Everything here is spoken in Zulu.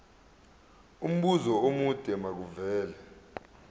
umbuzo omude makuvele